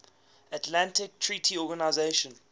atlantic treaty organisation